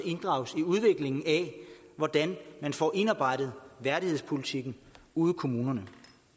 inddrages i udviklingen af hvordan man får indarbejdet værdighedspolitikken ude i kommunerne